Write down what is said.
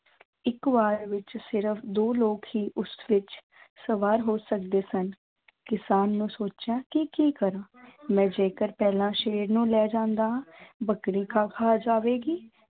ਇੱਕ ਵਾਰ ਵਿੱਚ ਸਿਰਫ਼ ਦੋ ਲੋਕ ਹੀ ਉਸ ਵਿੱਚ ਸਵਾਰ ਹੋ ਸਕਦੇ ਸਨ, ਕਿਸਾਨ ਨੇ ਸੋਚਿਆ ਕਿ ਕੀ ਕਰਾਂ ਮੈਂ ਜੇਕਰ ਪਹਿਲਾਂਂ ਸ਼ੇਰ ਨੂੰ ਲੈ ਜਾਂਦਾ ਹਾਂ ਬੱਕਰੀ ਘਾਹ ਖਾ ਜਾਵੇਗੀ।